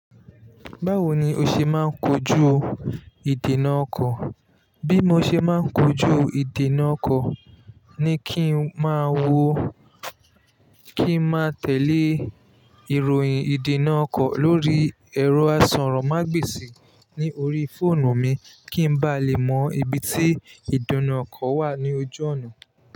Báwo ni o ṣe máa ń kojú ìdènà ọkọ̀? Bí mo ṣe máa ń kojú ìdènà ọkọ̀ ni kí n máa wo, kí n máa tẹ̀lé ìròyìn ìdènà ọkọ̀ lórí ẹ̀rọ àsọ̀rọ̀ mágbèsì ní orí fóònù mi kí n ba lè mọ ibi tí ìdènà ọkọ̀ wà ní ojú ọ̀nà.